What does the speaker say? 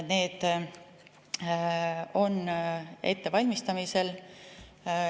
Need on ettevalmistamisel.